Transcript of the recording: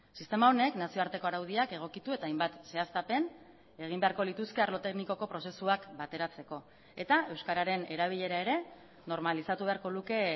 sistema honek nazioarteko araudiak egokitu eta hainbat zehaztapen egin beharko lituzke arlo teknikoko prozesuak bateratzeko eta euskararen erabilera ere normalizatu beharko luke